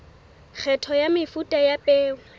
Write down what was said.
kgetho ya mefuta ya peo